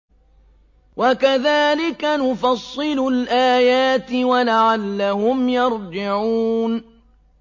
وَكَذَٰلِكَ نُفَصِّلُ الْآيَاتِ وَلَعَلَّهُمْ يَرْجِعُونَ